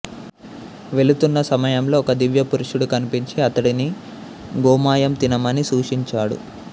వెళుతున్న సమయంలో ఒక దివ్యపురుషుడు కనిపించి అతడిని గోమయం తినమని సూచించాడు